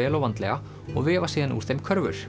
vel og vandlega og vefa síðan úr þeim körfur